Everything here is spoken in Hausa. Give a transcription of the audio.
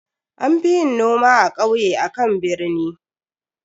An fi yin noma a kauye akan a birni.